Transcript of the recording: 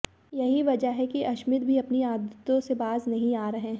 यही वजह है कि अश्मित भी अपनी आदतों से बाज नहीं आ रहे हैं